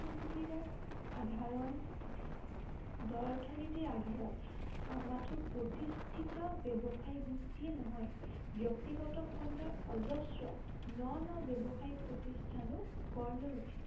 নীতিৰে আধাৰন দৰ্শ নীতিৰ আধাৰত মাথো প্ৰতিষ্ঠিত ব্য়ৱসায়ী গোষ্ঠীয়ে নহয় ব্য়ক্তিগত খণ্ডৰ অজস্ৰ ন ন ব্য়ৱসায়িক প্ৰতিষ্ঠানো গঢ় লৈ উঠিছে